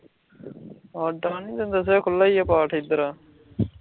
ਤੈਂਨੂੰ ਦੱਸਿਆ ਏ ਖੁੱਲ੍ਹਾ ਈ ਏ ਐਧਰ